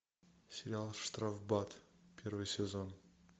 сериал штрафбат первый сезон